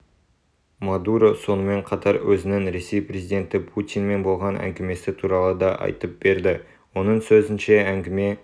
мадуро сонымен қатар өзінің ресей президенті путинмен болған әңгімесі туралы да айтып берді оның сөзінше әңгіме